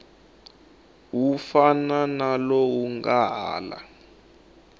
fana na lowu nga laha